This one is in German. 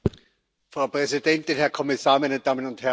Frau Präsidentin, Herr Kommissar, meine Damen und Herren!